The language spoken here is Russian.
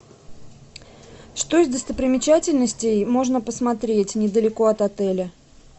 что из достопримечательностей можно посмотреть недалеко от отеля